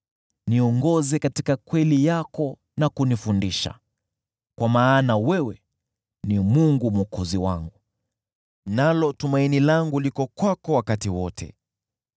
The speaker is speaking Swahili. niongoze katika kweli yako na kunifundisha, kwa maana wewe ni Mungu Mwokozi wangu, nalo tumaini langu liko kwako wakati wote.